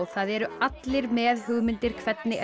það eru allir með hugmyndir hvernig